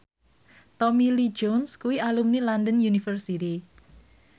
Tommy Lee Jones kuwi alumni London University